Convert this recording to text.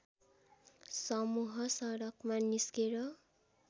समुह सडकमा निस्केर